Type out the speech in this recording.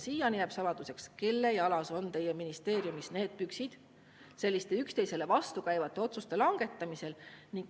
Siiani jääb saladuseks, kelle jalas on teie ministeeriumis püksid selliste üksteisele vastukäivate otsuste langetamisel.